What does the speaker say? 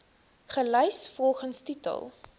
gelys volgens titel